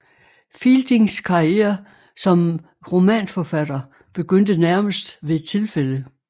Fieldings karriere som romanforfatter begyndte nærmest ved et tilfælde